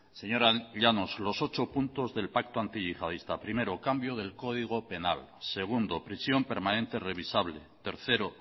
señora llanos los ocho puntos del pacto antiyihadista primero cambio del código penal segundo prisión permanente revisable tercero